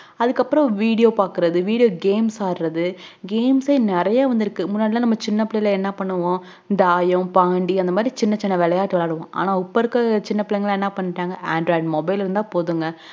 அதுக்கு அப்புறம் video பாக்குறது videogames ஆடுறது games ஹே நெறைய வந்துருக்கு சின்ன புள்ளைல என்ன பண்ணுவோம் தாயம் பாண்டி அந்த மாதிரி சின்ன சின்ன விளையாட்டுவிளையாடுவோம்ஆனா உப்ப இருக்குற சின்ன பிள்ளைன்களாம் என்ன பண்றாங்க android mobile இருந்தா போதுங்க